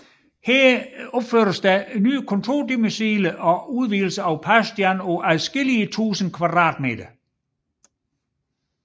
Her opføres også nye kontordomiciler og udvidelser af Paustian på adskillige tusind kvadratmeter